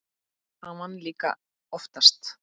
Hann vann líka oftast.